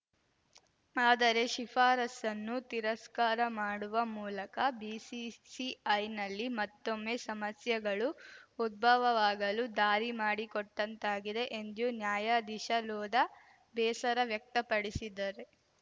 ಆದರೆ ಶಿಫಾರಸನ್ನು ತಿರಸ್ಕಾರ ಮಾಡುವ ಮೂಲಕ ಬಿಸಿಸಿಐನಲ್ಲಿ ಮತ್ತೊಮ್ಮೆ ಸಮಸ್ಯೆಗಳು ಉದ್ಭವವಾಗಲು ದಾರಿ ಮಾಡಿಕೊಟ್ಟಂತಾಗಿದೆ ಎಂದು ನ್ಯಾಯಾದೀಶಲೋಧಾ ಬೇಸರ ವ್ಯಕ್ತಪಡಿಸಿದ್ದಾರೆ